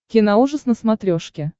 киноужас на смотрешке